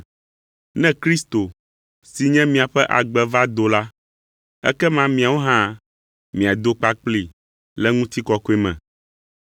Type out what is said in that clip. Ne Kristo si nye miaƒe agbe va do la, ekema miawo hã miado kpakplii le ŋutikɔkɔe me.